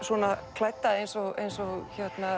klædda eins og eins og